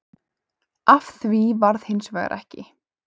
Af því varð hins vegar ekki